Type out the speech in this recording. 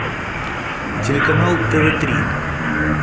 телеканал тв три